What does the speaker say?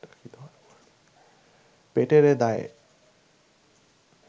পেটেরে দায়ে